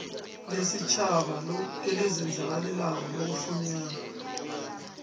lesitjhaba elizenzakalelako lokufunyanwa